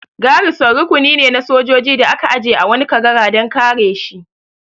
Garison rukuni ne na sojoji da aka aje a wani kagara dan kare shi